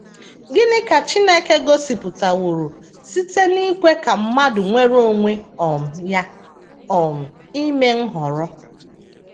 Gịnị ka Chineke gosipụtaworo site n’ikwe ka mmadụ nwere onwe um ya um ime nhọrọ?